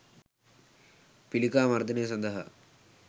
පිළිකා මර්දනය සඳහා